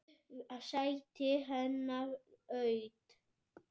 Sætið hennar autt.